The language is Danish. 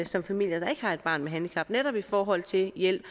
som familier der ikke har et barn med handicap netop i forhold til hjælp